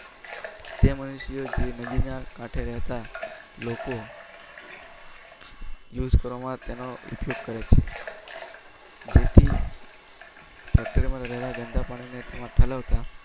તે મનુષ્યો જે નદીના કાંઠે રેતા લોકો use કરવામાં તેનો ઉપયોગ કરે છે જેથી factory માં રહેલા ગંદા પાણીને તેમાં ઠાલવતા